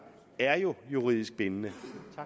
er jo juridisk bindende